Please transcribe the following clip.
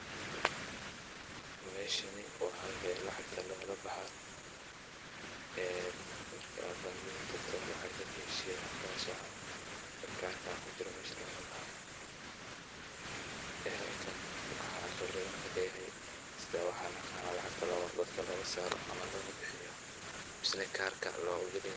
Meeshani oo halka ay lacagta lagala baxa een marka aa bangiga takto lacagta keshiyaha cash ah ee karka kujiro mesha lagala baho. bahalkan waxa qabreda kaleyahay sidaa waxa aqana lacagta dadka loga saaro ama loga bihiyo mase neh karka loga digo .